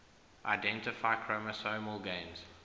identify chromosomal gains